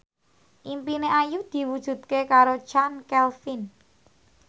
impine Ayu diwujudke karo Chand Kelvin